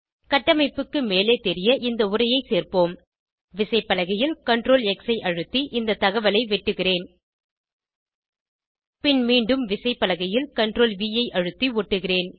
கட்டமைப்புக்கு மேலே தெரிய இந்த உரையை சேர்ப்போம் விசைப்பலகையில் CTRL X ஐ அழுத்தி இந்த தகவலை வெட்டுகிறேன் பின் மீண்டும் விசைப்பலகையில் CTRLV ஐ அழுத்தி ஒட்டுகிறேன்